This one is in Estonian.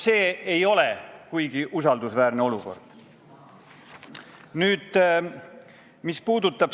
See ei ärata kuigi suurt usaldust.